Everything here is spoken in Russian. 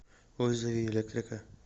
вызови электрика